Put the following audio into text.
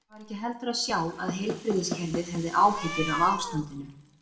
Það var ekki heldur að sjá að heilbrigðiskerfið hefði áhyggjur af ástandinu.